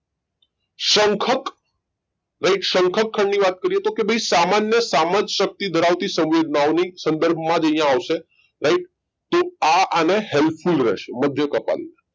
શંખક right શંખક ખંડ ની વાત કરીએ તો કે ભાઈ સામાન્ય સમજ શક્તિ ધરાવતી સંવેદનાઓની સંદર્ભમાં જ અહીંયા આવશે right તો આ આને help full રહેશે મધ્ય કપાલી